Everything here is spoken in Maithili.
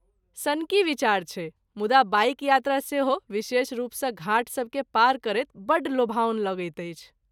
सनकी विचार छै, मुदा बाइक यात्रा, सेहो विशेष रूपसँ घाट सबकेँ पार करैत बड्ड लोभाओन लगैत अछि।